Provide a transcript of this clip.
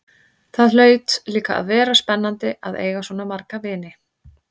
Það hlaut líka að vera spennandi að eiga svona marga vini.